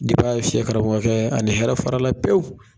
a y'a fiyɛ karamɔkɔ kɛ ani hɛrɛ farala pewu